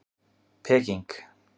Peking